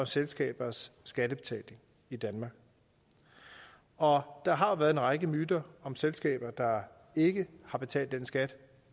selskabers skattebetaling i danmark og der har været en række myter om selskaber der ikke har betalt den skat